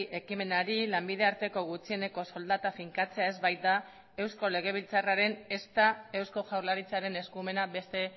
ekimenari lanbide arteko gutxieneko soldata finkatzea ez baita eusko legebiltzarraren ezta eusko jaurlaritzaren eskumena beste